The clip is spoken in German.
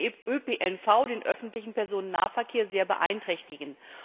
Das würde den ÖPNV den öffentlichen Personennahverkehr sehr beeinträchtigen.